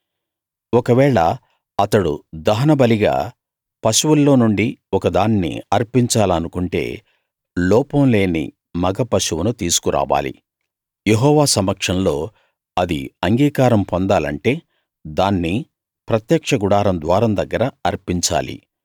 ఒకవేళ అతడు దహనబలిగా పశువుల్లో నుండి ఒక దాన్ని అర్పించాలనుకుంటే లోపం లేని మగ పశువును తీసుకు రావాలి యెహోవా సమక్షంలో అది అంగీకారం పొందాలంటే దాన్ని ప్రత్యక్ష గుడారం ద్వారం దగ్గర అర్పించాలి